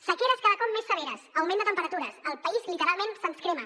sequeres cada cop més severes augment de temperatures el país literalment se’ns crema